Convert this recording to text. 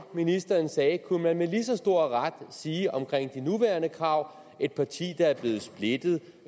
ministeren sagde kunne man med lige så stor ret sige om de nuværende krav et parti der er blevet splittet